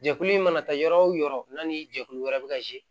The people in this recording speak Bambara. Jɛkulu in mana taa yɔrɔ o yɔrɔ n'a ni jɛkulu wɛrɛ bɛ ka